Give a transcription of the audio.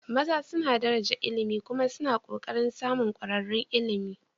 maza suna daraja ilimi kuma suna ƙoƙarin samun ƙwararrun ilimi